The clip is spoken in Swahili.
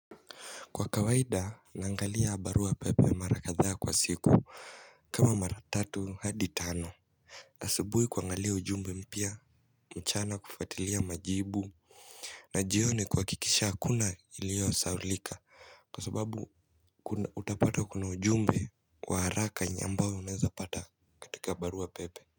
Kwa kawaida naangalia barua pepe mara kadhaa kwa siku kama mara tatu hadi tano asubuhi kuangalia ujumbe mpya mchana kufuatilia majibu na jioni kuhakikisha hakuna iliyosahaulika kwa sababu utapata kuna ujumbe wa haraka ambao unawezapata katika barua pepe.